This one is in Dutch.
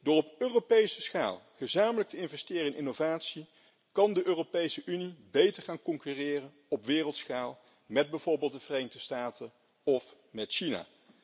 Door op Europese schaal gezamenlijk te investeren in innovatie, kan de Europese Unie beter gaan concurreren op wereldschaal met bijvoorbeeld de Verenigde Staten of met China.